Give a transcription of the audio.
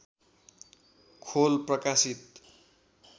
खोल प्रकाशित